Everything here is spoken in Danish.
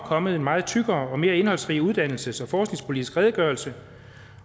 kommet en meget tykkere og mere indholdsrig uddannelses og forskningspolitisk redegørelse